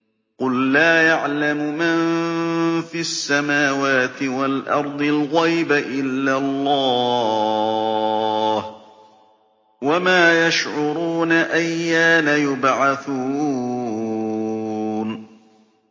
قُل لَّا يَعْلَمُ مَن فِي السَّمَاوَاتِ وَالْأَرْضِ الْغَيْبَ إِلَّا اللَّهُ ۚ وَمَا يَشْعُرُونَ أَيَّانَ يُبْعَثُونَ